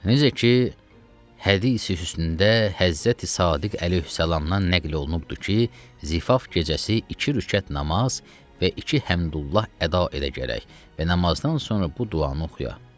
Necə ki, hədisi-hüsnündə Həzrəti Sadiq əleyhissalamdan nəql olunubdur ki, zifaf gecəsi iki rükət namaz və iki həmduallah əda edə gərək və namazdan sonra bu duanı oxuya.